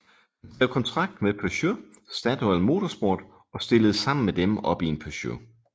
Han skrev kontrakt med Peugeot Statoil Motorsport og stillede sammen med dem op i en Peugeot